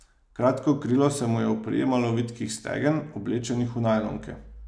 Kratko krilo se mu je oprijemalo vitkih stegen, oblečenih v najlonke.